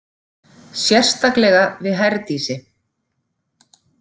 Sérstaklega við Herdísi.